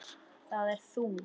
Það ert þú.